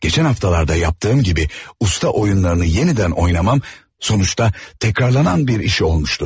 Geçən haftalarda yaptığım kimi usta oyunlarını yenidən oynamam, sonuçta tekrarlanan bir iş olmuşdu.